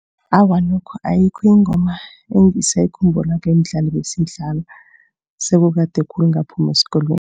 Awa, nokho ayikho ingoma engisayikhumbulako yemidlalo ebesiyidlala. Sekukade khulu ngaphuma esikolweni.